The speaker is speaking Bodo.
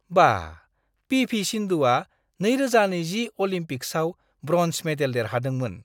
बाह! पि.भि. सिन्धुआ 2020 अलिम्पिक्सआव ब्र'न्ज मेडेल देरहादोंमोन!